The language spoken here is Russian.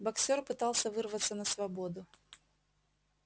боксёр пытался вырваться на свободу